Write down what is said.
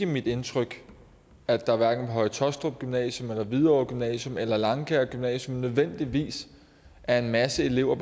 mit indtryk at der hverken på høje taastrup gymnasium eller hvidovre gymnasium eller langkaer gymnasium nødvendigvis er en masse elever